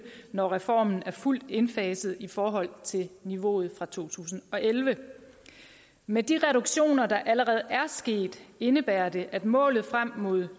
når reformen er fuldt indfaset i forhold til niveauet for to tusind og elleve med de reduktioner der allerede er sket indebærer det at målet frem mod